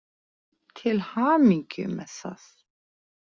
Til hamingju með það.